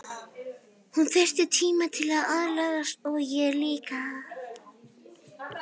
Hún þyrfti tíma til að aðlagast og ég líka.